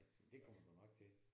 Det kommer du nok til